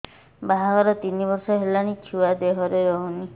ବାହାଘର ତିନି ବର୍ଷ ହେଲାଣି ଛୁଆ ଦେହରେ ରହୁନି